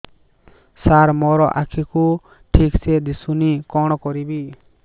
ସାର ମୋର ଆଖି କୁ ଠିକସେ ଦିଶୁନି କଣ କରିବି